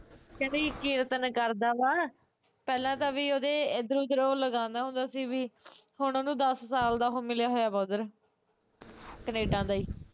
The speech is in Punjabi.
ਕਹਿੰਦੀ ਕੀਰਤਨ ਕਰਦਾ ਵਾਂ ਪਹਿਲਾਂ ਤਾਂ ਵੀ ਉਹਦੇ ਇਧਰੋਂ ਉਧਰੋਂ ਲਗਾਉਂਦਾ ਸੀ ਹੁਣ ਓਹਨੂੰ ਦੱਸ ਸਾਲ ਦਾ ਉਹ ਮਿਲਿਆ ਵਾਂ ਓਧਰ ਕਨੇਡਾ ਦਾ ਈ